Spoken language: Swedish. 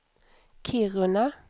Kiruna